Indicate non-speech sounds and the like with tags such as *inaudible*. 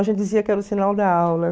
*unintelligible* dizia que era o sinal da aula.